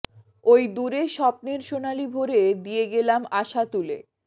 ওই দূরে স্বপ্নের সোনালি ভোরে দিয়ে গেলাম আশা তুলে